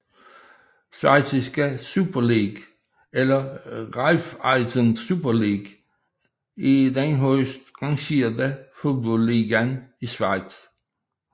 Schweiziske Super League eller Raiffeisen Super League er den højest rangerede fodboldliga i Schweiz